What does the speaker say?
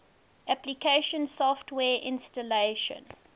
application software installation